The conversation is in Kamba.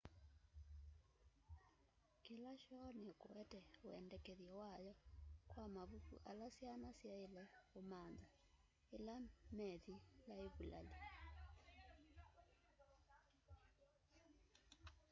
kila shoo nikuete wendekethyo wayo kwa mavuku ala syana syaile umantha ila methi laivulali